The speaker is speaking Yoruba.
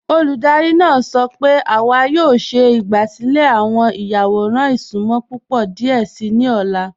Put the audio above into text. Olúdárì náà sọ́ pẹ̀ẹ̀ è a yọ̀ọ̀ ṣẹ̀ ìgbàsílẹ̀ awọn ìyàwọ̀ràn ìṣùnmọ̀ púpọ̀ díẹ̀ sí ni ọ̀la.